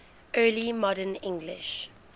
early modern english